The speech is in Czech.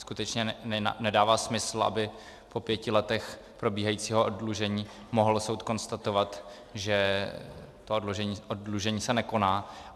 Skutečně nedává smysl, aby po pěti letech probíhajícího oddlužení mohl soud konstatovat, že to oddlužení se nekoná.